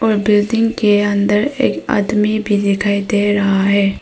Building के अंदर एक आदमी भी दिखाई दे रहा है।